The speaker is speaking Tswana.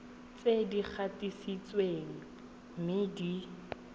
tse di gatisitsweng mme di